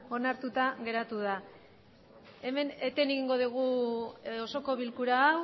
onartuta geratu da hemen eten egingo dugu osoko bilkura